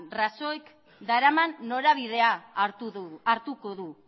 rajoyk daraman norabidea hartu du